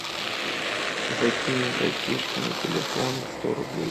закинь братишке на телефон сто рублей